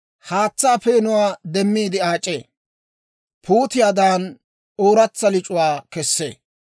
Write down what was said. haatsaa peenuwaa demmiide aac'ee; puutiyaadan ooratsa lic'uwaa kessee.